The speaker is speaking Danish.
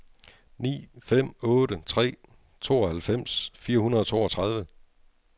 ni fem otte tre tooghalvfems fire hundrede og toogtredive